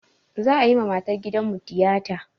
Za'a yi ma matar gidanmu tiyata.